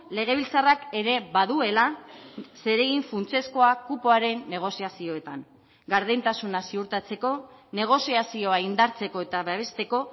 legebiltzarrak ere baduela zeregin funtsezkoa kupoaren negoziazioetan gardentasuna ziurtatzeko negoziazioa indartzeko eta babesteko